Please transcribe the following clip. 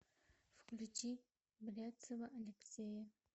включи бряцева алексея